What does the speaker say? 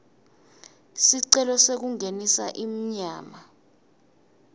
sicelo sekungenisa inyama